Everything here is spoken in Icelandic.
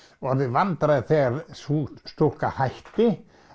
orðið vandræði þegar sú stúlka hætti